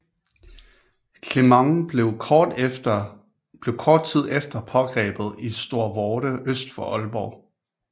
Clement blev kort tid efter pågrebet i Storvorde øst for Aalborg